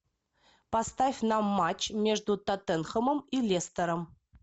поставь нам матч между тоттенхэмом и лестером